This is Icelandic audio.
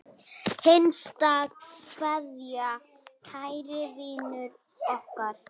HINSTA KVEÐJA Kæri vinur okkar.